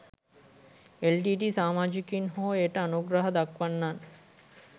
LTTE සාමාජිකයන් හෝ එයට අනුග්‍රහ දක්වන්නන්